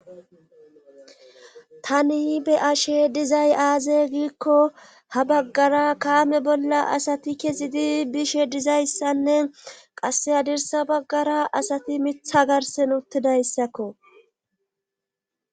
Tani be ashe dizay aaze giikko ha baggara kaame bolla asati kezidi bishe dizayssanne qasse hadirsa baggara asati mitha garsen uttidayssakko.